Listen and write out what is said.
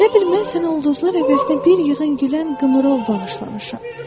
Elə bil mən sənə ulduzlar əvəzinə bir yığın gülən qımrov bağışlamışam.